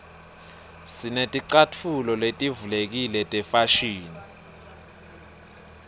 sineticatfulo letivulekile tefashini